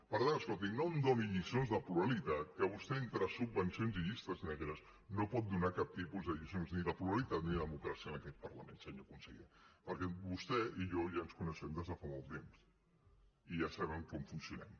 per tant escolti no em doni lliçons de pluralitat que vostè entre subvencions i llistes negres no pot donar cap tipus de lliçó ni de pluralitat ni de democràcia en aquest parlament senyor conseller perquè vostè i jo ja ens coneixem des de fa molt temps i ja sabem com funcionem